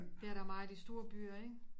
Det er der meget i store byer ikke